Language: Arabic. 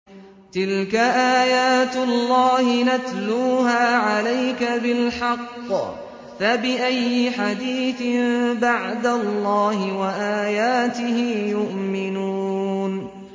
تِلْكَ آيَاتُ اللَّهِ نَتْلُوهَا عَلَيْكَ بِالْحَقِّ ۖ فَبِأَيِّ حَدِيثٍ بَعْدَ اللَّهِ وَآيَاتِهِ يُؤْمِنُونَ